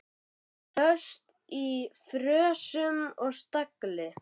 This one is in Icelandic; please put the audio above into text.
Föst í frösum og stagli.